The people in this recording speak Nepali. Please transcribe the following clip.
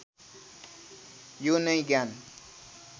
यो नै ज्ञान